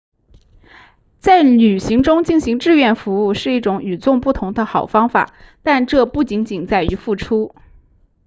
在旅行中进行志愿服务是一种与众不同的好方法但这不仅仅在于付出